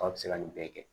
Tɔ bɛ se ka nin bɛɛ kɛ